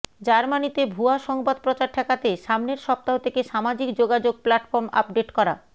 জার্মানিতে ভুয়া সংবাদ প্রচার ঠেকাতে সামনের সপ্তাহ থেকে সামাজিক যোগাযোগ প্লাটফর্ম আপডেট করা